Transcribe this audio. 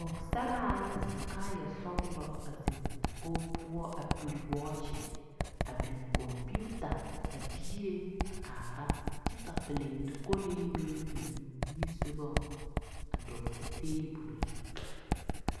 Pͻgesaraa la su kaaya sͻgelͻ a zeŋe dakogi poͻ a pere wͻͻkye, a biŋ kͻmpiita a diire a kaara kyԑ ka pilinto kolee meŋ biŋ o nimisogͻŋ a dͻgele teebole zu.